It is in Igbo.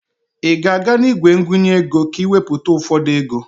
Ị ga-aga n'igwe ngụnye ego ka ị wepụta ụfọdụ ego?